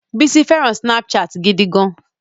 Bísọ́lá fẹràn Snapchat gidi gan.